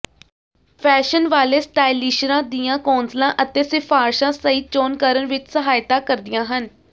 fashion ਵਾਲੇ ਸਟਾਈਲਿਸ਼ਰਾਂ ਦੀਆਂ ਕੌਂਸਲਾਂ ਅਤੇ ਸਿਫਾਰਸ਼ਾਂ ਸਹੀ ਚੋਣ ਕਰਨ ਵਿਚ ਸਹਾਇਤਾ ਕਰਦੀਆਂ ਹਨ